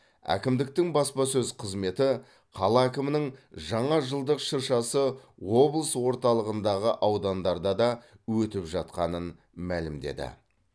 әкімдіктің баспасөз қызметі қала әкімінің жаңа жылдық шыршасы облыс орталығындағы аудандарда да өтіп жатқанын мәлімдеді